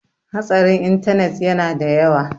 hatsarin intanet yana da yawa